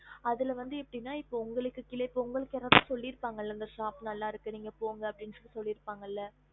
அதுல வந்து எப்படின்னு அது வந்து உங்களுக்கு யாராவது சொல்லி இருப்பாங்க இல்ல இந்த shop போங்கன்னு